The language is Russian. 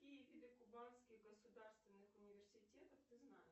какие виды кубанских государственных университетов ты знаешь